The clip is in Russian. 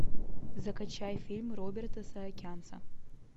закачай фильм роберта саакянца